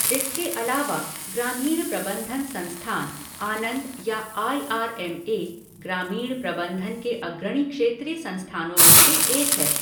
इसके अलावा, ग्रामीण प्रबंधन संस्थान, आनंद या आई आर एम ए ग्रामीण प्रबंधन के अग्रणी क्षेत्रीय संस्थानों में से एक है।